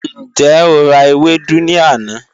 Njẹ o ra ewedu ni ana?